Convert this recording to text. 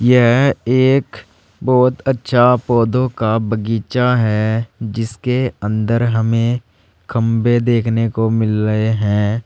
यह एक बहुत अच्छा पौधों का बगीचा है जिसके अंदर हमें खंबे देखने को मिल रहे हैं।